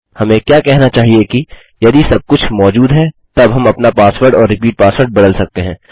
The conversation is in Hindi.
हमें क्या कहना चाहिए कि यदि सब कुछ मौजूद है तब हम अपना पासवर्ड और रिपीट पासवर्ड बदल सकते हैं